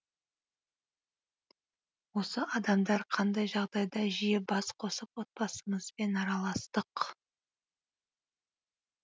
осы адамдар қандай жағдайда жиі бас қосып отбасымызбен араластық